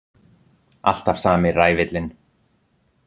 Alltaf sami ræfillinn!